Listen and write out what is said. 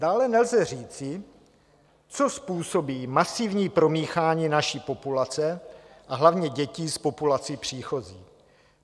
Dále nelze říci, co způsobí masivní promíchání naší populace a hlavně dětí s populací příchozí.